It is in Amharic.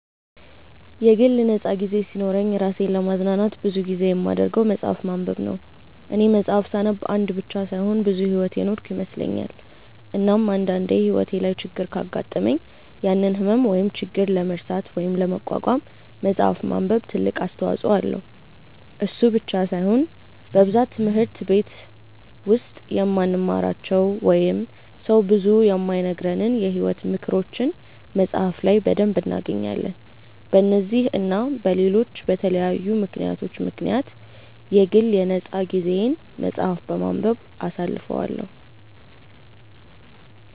የግል ነፃ ጊዜ ሲኖረኝ እራሴን ለማዝናናት ብዙ ጊዜ የማደርገው መፅሐፍ ማንበብ ነው፦ እኔ መፅሐፍ ሳነብ አንድ ብቻ ሳይሆን ብዙ ሕይወት የኖርኩ ይመስለኛል፤ እናም አንድ አንዴ ሕይወቴ ላይ ችግር ካጋጠመኝ ያንን ህመም ወይም ችግር ለመርሳት ወይም ለመቋቋም መፅሐፍ ማንበብ ትልቅ አስተዋጽኦ አለው፤ እሱ ብቻ ሳይሆን በብዛት ትምህርት በቲች ውስጥ የማንማራቸው ወይንም ሰው ብዙ የማይነግረንን የሕይወት ምክሮችን መፅሐፍ ላይ በደንብ እናገኛለን፤ በነዚህ እና በለሎች በተለያዩ ምክንያቶች ምክንያት የግል የ ነፃ ጊዜየን መፅሐፍ በማንበብ አሳልፈዋለው።